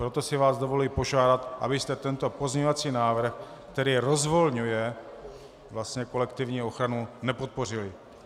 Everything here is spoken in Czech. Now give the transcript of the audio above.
Proto si vás dovoluji požádat, abyste tento pozměňovací návrh, který rozvolňuje kolektivní ochranu, nepodpořili.